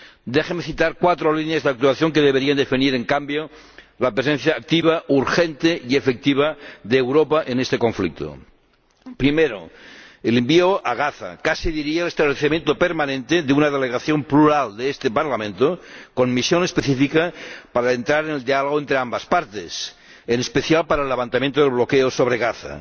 Déjeme citar cuatro líneas de actuación que deberían definir, en cambio, la presencia activa, urgente y efectiva de Europa en este conflicto. Primero el envío a Gaza, casi diría el establecimiento permanente, de una delegación plural de este Parlamento, con la misión específica de entrar en el diálogo entre ambas partes, en especial para el levantamiento del bloqueo sobre Gaza.